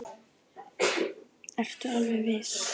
Ertu alveg viss?